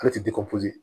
Ale tɛ